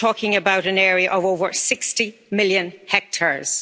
You're talking about an area of over 60 million hectares.